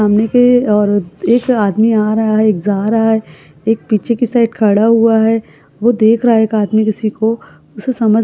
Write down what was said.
सामने के और एक आदमी आ रहा है एक जा रहा है एक पीछे के साइड खड़ा हुआ है वो देख रहा है एक आदमी किसी को उसे समझ --